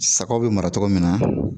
Sagaw bɛ mara cogo min na